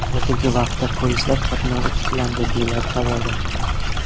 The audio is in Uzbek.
Hozirgi vaqtda poyezdlar qatnovi tiklandi”, deyiladi xabarda.